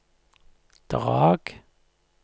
Drag